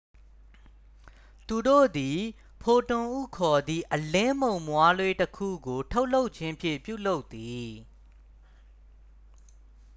"သူတို့သည် "ဖိုတွန်""ဟုခေါ်သည့် အလင်းမှုန်မွှားလေးတစ်ခုကို ထုတ်လွှတ်ခြင်းဖြင့် ပြုလုပ်သည်။